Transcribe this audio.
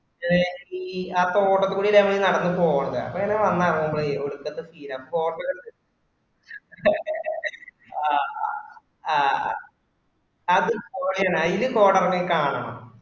ഏ ഈ തോട്ടത് കൂടെ ഞമ്മള് നടന്ന് പോവുണ്ടേ അപ്പൊ ഇങ്ങനെ വന്ന് ഇറങ്ങുമ്പായെ ഒടക്കാത്ത scece ആണ് കോടക്കൊണ്ട് ആഹ് ആ അത് പൊളിയാണ് അഴിൽ കോട എറങ്ങി കാണണം.